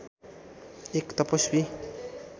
एक तपस्वी